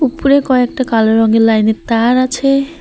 উপরে কয়েকটা কালো রঙের লাইনের তার আছে।